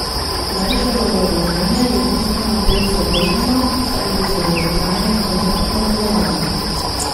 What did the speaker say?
Meršolovo dejanje je bistveno bolj zavrženo, saj gre za dolgotrajno zahrbtno delovanje.